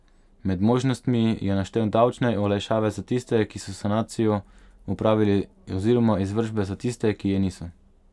Med možnostmi je naštel davčne olajšave za tiste, ki so sanacijo opravili oziroma izvršbe za tiste, ki je niso.